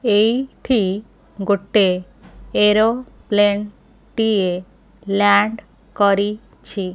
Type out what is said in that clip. ଏଇଠି ଗୋଟେ ଏରୋପ୍ଲେନ୍ ଟିଏ ଲ୍ୟାଣ୍ଡ କରିଛି।